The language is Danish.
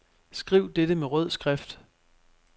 Skriv dette med rød skrift.